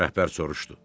Rəhbər soruşdu.